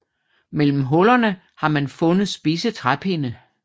Mellem hullerne har man fundet spidse træpinde